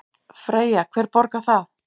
Freyja: Hver borgar það?